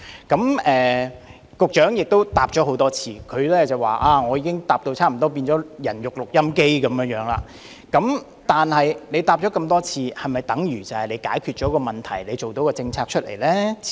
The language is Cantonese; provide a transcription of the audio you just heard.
儘管局長已經多次作答，並表示他好像變成了"人肉錄音機"，但多次回答是否便等於問題已獲解決，是否表示已訂好政策呢？